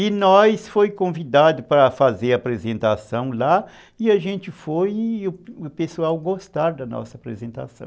E nós fomos convidados para fazer a apresentação lá e a gente foi e o pessoal gostou da nossa apresentação.